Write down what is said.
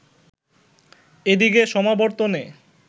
এদিকে সমাবর্তনে